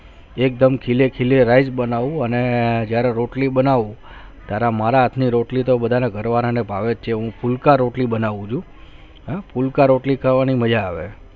એકદમ ખીલે ખીલે rice બનવું જયારે રોટલી બનવું ત્યારે મારા હાત માં રોટલી તો ઘરવાળા માં ભાવે છે હું ફુલ્કા રોટલી બનવું છું ફૂલકા રોટલી ખાવાને મજા આવે